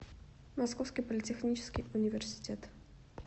московский политехнический университет